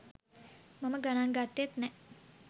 මම ගනන් ගත්තෙත් නෑ